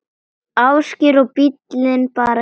Ásgeir: Og bíllinn bara keyrir?